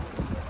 Abba.